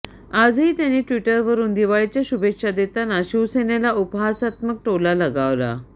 आजही त्यांनी ट्विटरवरुन दिवाळीच्या शुभेच्छा देताना शिवसेनेला उपहासात्मक टोला लगावला